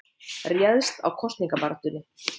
Réðst á kosningabaráttunni